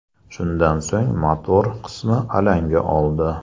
Shundan so‘ng motor qismi alanga oldi.